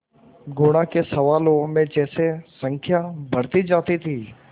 गुणा के सवालों में जैसे संख्या बढ़ती जाती थी